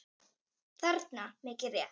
þarna, mikið rétt.